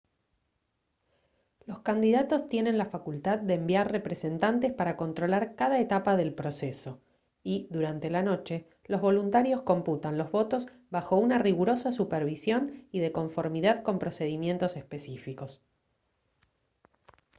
los candidatos tienen la facultad de enviar representantes para controlar cada etapa del proceso y durante la noche los voluntarios computan los votos bajo una rigurosa supervisión y de conformidad con procedimientos específicos